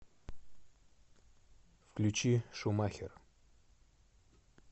включи шумахер